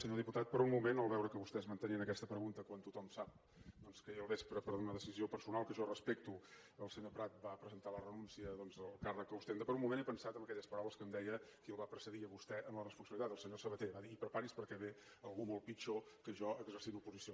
senyor diputat per un moment al veure que vostès mantenien aquesta pregunta quan tothom sap doncs que ahir al vespre per una decisió personal que jo respecto el senyor prat va presentar la renúncia al càrrec que ostenta per un moment he pensat en aquelles paraules que em deia qui el va precedir a vostè en la responsabilitat el senyor sabaté va dir i prepari’s perquè ve algú molt pitjor que jo exercint l’oposició